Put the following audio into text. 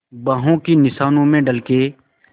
बाहों के निशानों में ढल के